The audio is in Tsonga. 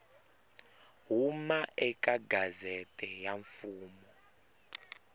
huma eka gazette ya mfumo